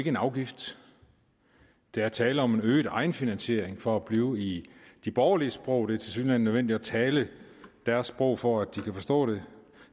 en afgift der er tale om en øget egenfinansiering for at blive i de borgerliges sprog det er tilsyneladende nødvendigt at tale deres sprog for at de kan forstå det